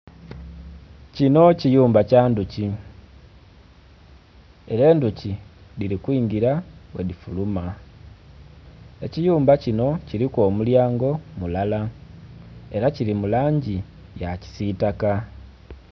Kinho kayumba kya ndhuki era endhuki dhiri kwingira bwe dhifuruma, ekiyumba kinho kuliku omulyango mulala era kili mu langi ya kisitaka.